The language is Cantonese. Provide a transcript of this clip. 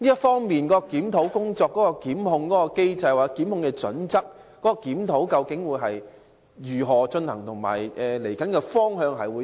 針對檢控機制或檢控準則的檢討工作將如何進行，其未來的方向為何？